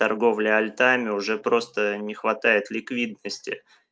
торговля альтами уже просто не хватает ликвидности